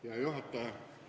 Head juhataja!